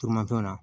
Tuma fɛnw na